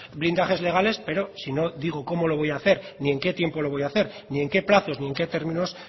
blindajes legales pero si no digo cómo lo voy a hacer ni en qué tiempo lo voy a hacer ni en que plazos ni en qué términos